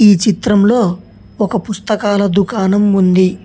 ఈ చిత్రంలో ఒక పుస్తకాల దుకాణం ఉంది.